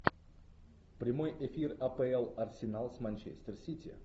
прямой эфир апл арсенал с манчестер сити